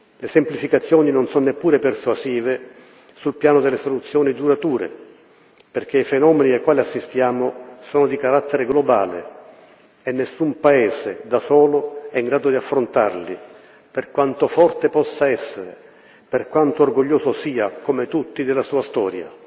Le semplificazioni non sono neppure persuasive sul piano delle soluzioni durature, perché i fenomeni ai quali assistiamo sono di carattere globale e nessun Paese, da solo, è in grado di affrontarli, per quanto forte possa essere, per quanto orgoglioso sia, come tutti, della sua storia.